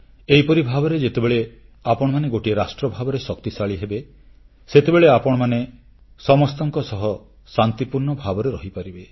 ଏହିପରି ଭାବେ ଯେତେବେଳେ ଆପଣମାନେ ଗୋଟିଏ ରାଷ୍ଟ୍ର ଭାବରେ ଶକ୍ତିଶାଳୀ ହେବେ ସେତେବେଳେ ଆପଣମାନେ ସମସ୍ତଙ୍କ ସହ ଶାନ୍ତିପୂର୍ଣ୍ଣ ଭାବରେ ରହିପାରିବେ